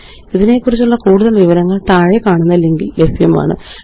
ഇതിനെക്കുറിച്ചുള്ള കൂടുതല് വിവരങ്ങള് താഴെക്കാണുന്ന ലിങ്കില് ലഭ്യമാണ് httpspoken tutorialorgNMEICT Intro